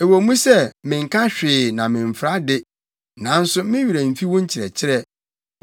Ɛwɔ mu sɛ menka hwee na memfra de, nanso me werɛ mfi wo nkyerɛkyerɛ.